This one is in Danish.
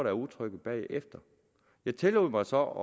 er utrygge bagefter jeg tillod mig så